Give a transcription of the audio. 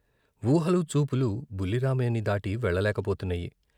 వూహలు, చూపులు బుల్లి రామయ్యని దాటి వెళ్ళలేకపోతున్నాయి.